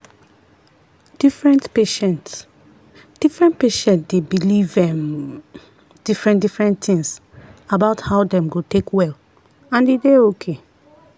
different patient different patient dey believe um different-different things about how dem go take well and e dey okay.